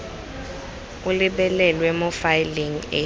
o lebelelwe mo faeleng e